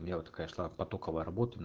и вот такая шла потоковая работа